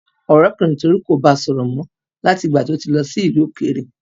Ọ̀rẹ́kùnrin Tolu kò bá sọ̀rọ̀ mọ́ láti ìgbà tí ó ti lọ ìlú òkèèrè.